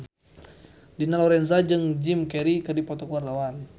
Dina Lorenza jeung Jim Carey keur dipoto ku wartawan